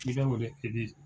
N'i kan ko